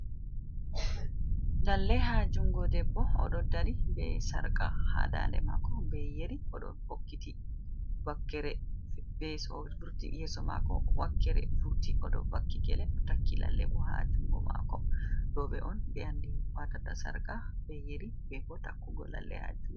Lallee haa jungoo debbo oɗo dari bee sarqa haa daande maako bee yeri, oɗo hokkitii wakkeree bee yeso maako wakkeree furti, oɗo vakki gele takki lalleebu ha jungo maako, rooɓe'on ɓe andi watata sarqa bee yeri beboo takugoo lallee haajuu .